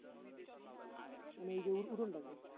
মানে ওইযে ওর উঠোনটাতে